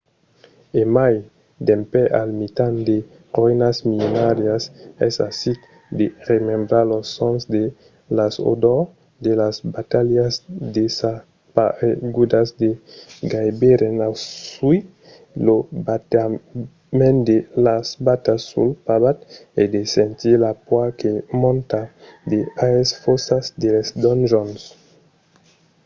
e mai dempè al mitan de roïnas millenàrias es aisit de remembrar los sons e las odors de las batalhas desaparegudas de gaireben ausir lo batement de las batas sul pavat e de sentir la paur que monta de aes fòssas de les donjons